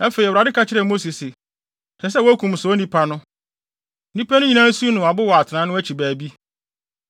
Afei, Awurade ka kyerɛɛ Mose se, “Ɛsɛ sɛ wokum saa onipa no. Nnipa no nyinaa nsiw no abo wɔ atenae no akyi baabi.”